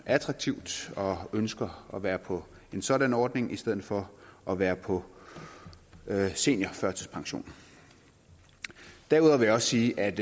attraktivt og ønsker at være på en sådan ordning i stedet for at være på seniorførtidspension derudover vil jeg sige at